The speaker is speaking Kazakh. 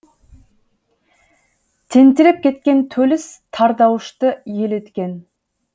тентіреп кеткен төліс тардаушты ел еткен